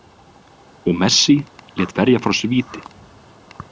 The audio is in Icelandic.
Og Messi lét verja frá sér víti.